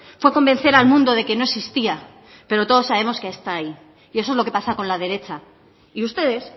fue convencer al mundo de que no existía pero todos sabemos que está ahí y eso es lo que pasa con la derecha y ustedes